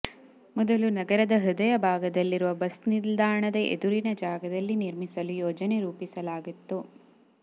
ಮೊದಲು ನಗರದ ಹೃದಯ ಭಾಗದಲ್ಲಿರುವ ಬಸ್ ನಿಲ್ದಾಣದ ಎದುರಿನ ಜಾಗದಲ್ಲಿ ನಿರ್ಮಿಸಲು ಯೋಜನೆ ರೂಪಿಸಲಾಗಿತ್ತು